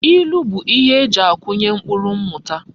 Ilu bu ihe eji akunye mkpuru mmuta